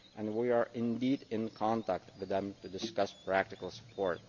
We are indeed in contact with them to discuss practical support.